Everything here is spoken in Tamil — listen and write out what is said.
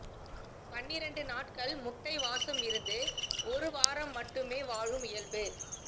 பன்னிரெண்டு நாட்கள் முட்டை வாசமிருந்து ஒரு வாரம் மட்டுமே வாழும் இயல்பு